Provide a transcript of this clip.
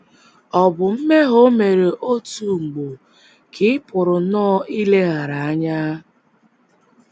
Ọ̀ bụ mmehie o mere otu ugbo nke ị pụrụ nnọọ ileghara anya?